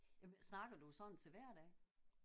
Jamen snakker du sådan til hverdag?